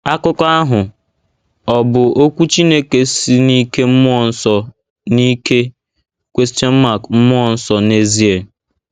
Akụkọ ahụ— Ọ̀ Bụ Okwu Chineke Si n’Ike Mmụọ Nsọ n’Ike Mmụọ Nsọ n’Ezie?